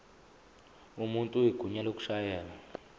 umuntu igunya lokushayela